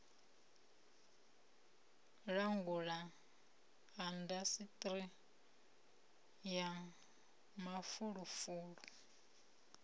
u langula indasiṱiri ya mafulufulu